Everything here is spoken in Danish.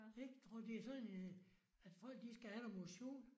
Ik. Tror du det sådan en øh at folk de skal have noget motion